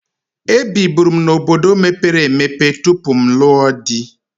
Ebiburu m n'obodo mepere emepe tupu m lụọ di.